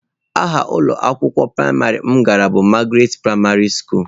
Aha ụlọ akwụkwọ praịmarị m gara bụ Magaratị praịmarị skulu.